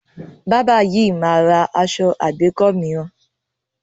Bábà yìí máa ra aṣọ àgbékọ́ mìíràn.